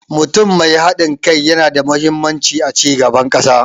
Mutum mai haɗin kai yana da mahimmanci a cigaban ƙasa.